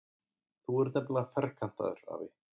Þú ert nefnilega ferkantaður, afi.